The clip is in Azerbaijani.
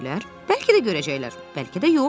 Bəlkə də görəcəklər, bəlkə də yox.